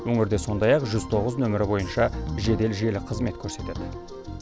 өңірде сондай ақ жүз тоғыз нөмірі бойынша жедел желі қызмет көрсетеді